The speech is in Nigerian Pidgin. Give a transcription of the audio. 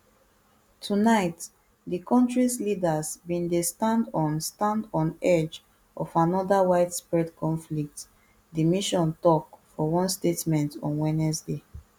tonight di kontris leaders bin dey stand on stand on edge of anoda widespread conflict di mission tok for one statement on wednesday